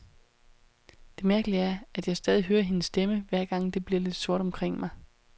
Det mærkelige er, at jeg stadig hører hendes stemme, hver gang det bliver lidt sort omkring mig.